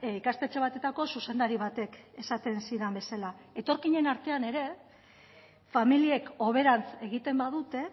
ikastetxe batetako zuzendari batek esaten zidan bezala etorkinen artean ere familiek hoberantz egiten badute